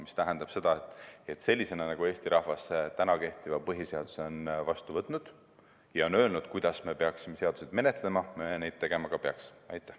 See tähendab seda, et selliselt, nagu Eesti rahvas kehtiva põhiseaduse on vastu võtnud ja on öelnud, kuidas me peaksime seadusi menetlema, me tegema ka peaksime.